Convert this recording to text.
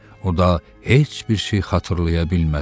O da heç bir şey xatırlaya bilmədi.